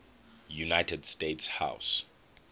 united states house